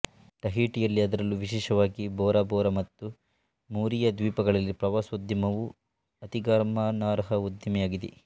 ಟಹೀಟಿಯಲ್ಲಿ ಅದರಲ್ಲೂ ವಿಶಿಷ್ಟವಾಗಿ Bora Bora ಮತ್ತು ಮೂರಿಯಾ ದ್ವೀಪಗಳಲ್ಲಿ ಪ್ರವಾಸೋದ್ಯಮವು ಅತಿಗಮನಾರ್ಹ ಉದ್ದಿಮೆಯಾಗಿದೆ